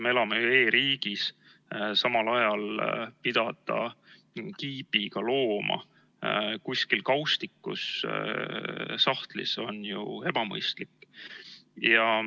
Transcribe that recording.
Me elame ju e-riigis, samal ajal pidada kiibiga looma kuskil kaustikus või sahtlis on ju ebamõistlik.